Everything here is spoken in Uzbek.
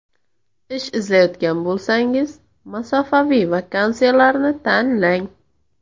Ish izlayotgan bo‘lsangiz, masofaviy vakansiyalarni tanlang.